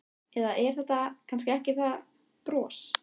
Eða er þetta kannski ekki það bros?